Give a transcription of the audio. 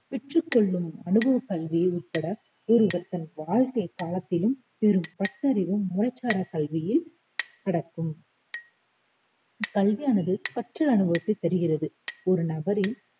பெற்றுக் கொள்ளும் அனுபவக் கல்வி உட்பட ஒருவர் தன் வாழ்க்கைக் காலத்திலும் பெறும் பட்டறிவும் முறைசாராக் கல்வியி அடங்கும் கல்வியானது கற்ற அனுபவத்தைத் தருகிறது ஒரு நபரின்